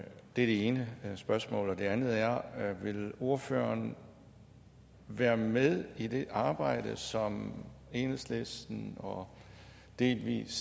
det ene spørgsmål det andet er vil ordføreren være med i det arbejde som enhedslisten og delvis